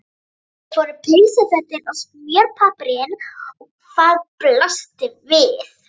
Upp fóru peysufötin og smjörpappírinn og hvað blasti við?